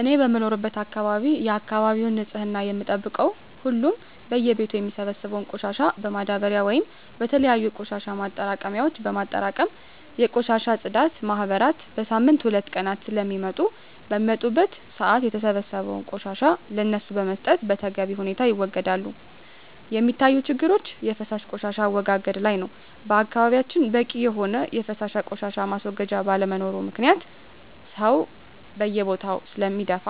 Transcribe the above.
እኔ በምኖርበት አካባቢ የአካባቢውን ንፅህና የምንጠብቀው ሁሉም በየ ቤቱ የሚሰበሰበውን ቆሻሻ በማዳበርያ ወይም በተለያዩ የቆሻሻ ማጠራቀሚያ በማጠራቀም የቆሻሻ የፅዳት ማህበራት በሳምንት ሁለት ቀናት ስለሚመጡ በሚመጡበት ሰአት የተሰበሰበውን ቆሻሻ ለነሱ በመስጠት በተገቢ ሁኔታ ያስወግዳሉ። የሚታዪ ችግሮች የፈሳሽ ቆሻሻ አወጋገድ ላይ ነው በአካባቢያችን በቂ የሆነ የፈሳሽ ቆሻሻ ማስወገጃ ባለመኖሩ ምክንያት ሰው በየቦታው ስለሚደፍ